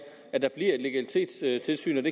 at der bliver et legalitetstilsyn